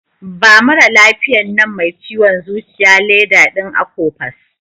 Ba maralafiyan nan mai ciwon zuciya leda din Akopas.